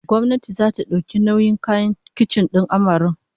Gwamnati zata dauki nauyin kayan kicin din amaren